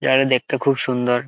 জায়গা দেখতে খুব সুন্দর।